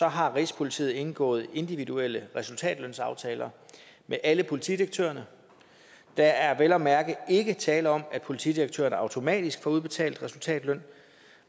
har rigspolitiet indgået individuelle resultatlønsaftaler med alle politidirektørerne der er vel at mærke ikke tale om at politidirektørerne automatisk får udbetalt resultatløn